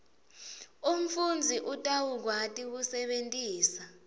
umfundzi utawukwati kusebentisa